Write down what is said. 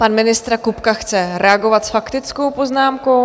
Pan ministr Kupka chce reagovat s faktickou poznámkou.